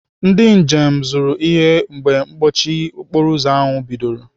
Ndị njem zụrụ ihe mgbe mkpọchi okporoụzọ ahụ bidoro.